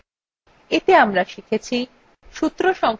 এতে আমরা শিখেছি